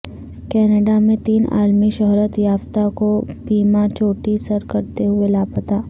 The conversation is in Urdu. کینیڈا میں تین عالمی شہرت یافتہ کوہ پیما چوٹی سر کرتے ہوئے لاپتہ